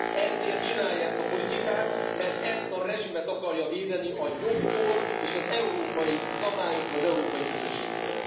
Ezért csinálja ezt a politikát, mert ezt a rezsimet akarja védeni a jogtól és az európai szabályoktól, az európai közösségtől.